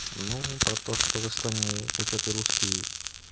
ну про то что в астане учат и русский